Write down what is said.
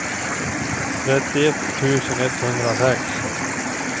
trettioett tusen etthundrasex